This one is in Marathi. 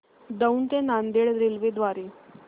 दौंड ते नांदेड रेल्वे द्वारे